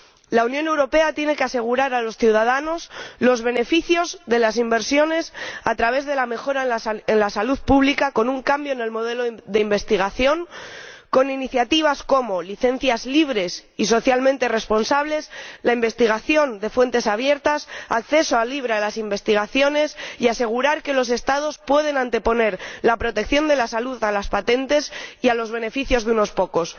La Unión Europea tiene que asegurar a los ciudadanos los beneficios de las inversiones a través de la mejora de la salud pública, con un cambio en el modelo de investigación, con iniciativas como licencias libres y socialmente responsables, la investigación de fuentes abiertas, el acceso libre a las investigaciones, y asegurar asimismo que los Estados puedan anteponer la protección de la salud a las patentes y a los beneficios de unos pocos.